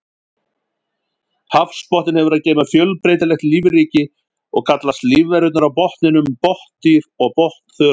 Hafsbotninn hefur að geyma fjölbreytilegt lífríki og kallast lífverurnar á botninum botndýr og botnþörungar.